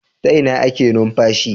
Ta Ina ake numfashi